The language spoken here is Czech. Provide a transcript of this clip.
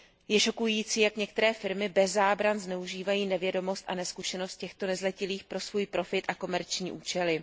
Je šokující, jak některé firmy bez zábran zneužívají nevědomost a nezkušenost těchto nezletilých pro svůj profit a komerční účely.